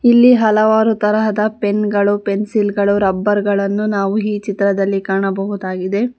ಇಲ್ಲಿ ಹಲವಾರು ತರಹದ ಪೆನ್ ಗಳು ಪೆನ್ಸಿಲ್ ಗಳು ರಬ್ಬರ್ ಗಳನ್ನು ನಾವು ಈ ಚಿತ್ರದಲ್ಲಿ ಕಾಣಬಹುದಾಗಿದೆ.